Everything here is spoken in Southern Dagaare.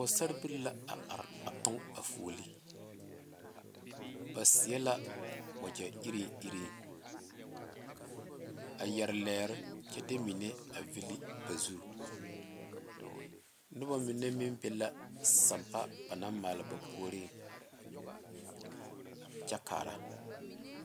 Pɔgesera bilee la a are a tɔge a fooliŋ ba seɛ la wagye iri iri a yeere lɛɛre kyɛ de mine a vile ba zu noba mine meŋ be la sanpa ba naŋ maale ba puori kyɛ kaara.